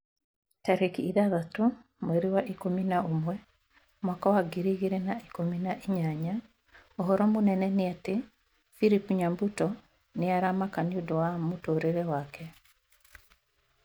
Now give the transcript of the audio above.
Tarĩki ithathatũ mweri wa ikũmi na ũmwe mwaka wa ngiri igĩrĩ na ikũmi na inyanya ũhoro mũnene nĩ ati philip nyabuto nĩ aramaka nĩũndũ wa mũtũrĩre wake